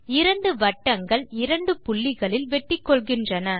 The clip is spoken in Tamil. இரண்டு வட்டங்கள் இரண்டு புள்ளிகளில் வெட்டிகொள்கின்றன